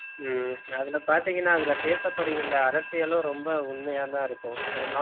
ஹம் அதுல பாத்தீங்கன்னா அதுல பேசப்படுகின்ற அரசியலும் ரொம்ப உண்மையாதான் இருக்கும் பெரும்பாலும்